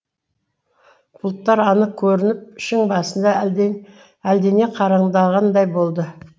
бұлттар анық көрініп шың басында әлдене қараңдағандай болды